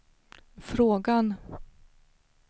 frågan